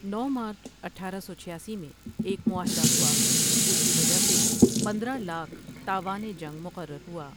نو مارچ اٹھارہ سو چھیاسی میں ایک معاہدہ ہوا جس کی وجہ سے پندرہ لاکھ تاوان جنگ مقرر ہوا ۔